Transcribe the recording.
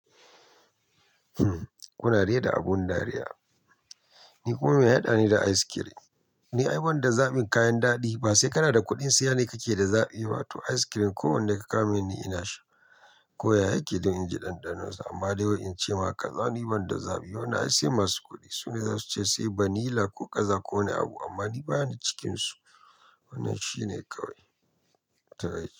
Kuna rera abun dariya. Ni kuma mai ya haɗani da ice cream. Ni ai wanda zaɓin kayan daɗi. Ba sai kana da kuɗin siya ne kake da zaɓi ba. To ice cream ko wanne ka kawo min ni, ina sha. Ko ya yake don in ji ɗanɗanon sa amma dai wai in ce ma kaza ni banda zaɓi. Wannan ai sai masu kuɗi su ne zasu ce sai vanilla ko kaza ko wani abu amma ni bani cikinsu. Wannan shi ne kawai. Taya.